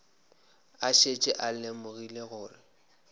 a šetše a lemogile gore